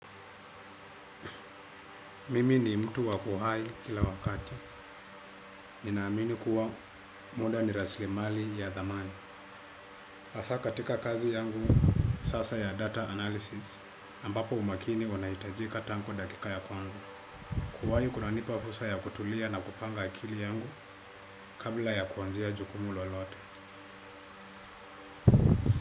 Mimi ni mtu wakuhai kila wakati. Ninaamini kuwa muda ni rasli mali ya dhamani. Hasaa katika kazi yangu sasa ya data analysis. Ambapo umakini unaitajika tangu dakika ya kwangu. Kuwahi kuna nipa fursa ya kutulia na kupanga akili yangu kabla ya kuanzia jukumu lolote.